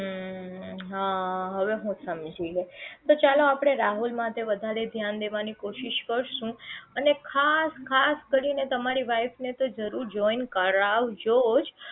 હા હવે હું સમજી ગયી તો ચાલો આપડે રાહુલ માટે વધારે ધ્યાન દેવાની કોશિશ કરશું અને ખાસ ખાસ કરીને તમારી wife ને તો જરૂર join કરાવજો જ